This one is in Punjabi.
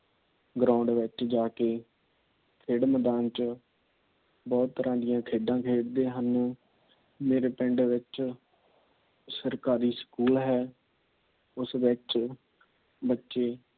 Ground ਵਿੱਚ ਜਾ ਕੇ ਖੇਡ ਮੈਦਾਨ ਵਿੱਚ, ਬਹੁਤ ਤਰ੍ਹਾਂ ਦੀਆ ਖੇਡਾਂ ਖੇਡਦੇ ਹਨ । ਮੇਰੇ ਪਿੰਡ ਵਿਚ ਸਰਕਾਰੀ ਸਕੂਲ ਹੈ। ਉਸ ਵਿੱਚ ਬੱਚੇ